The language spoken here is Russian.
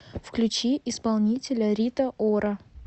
включи исполнителя рита ора